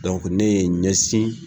ne ye n ɲɛsin